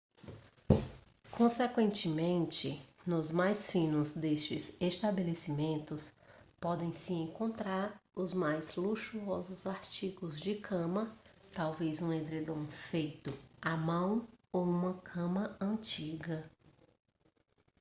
consequentemente nos mais finos destes estabelecimentos podem-se encontrar os mais luxuosos artigos de cama talvez um edredom feito à mão ou uma cama antiga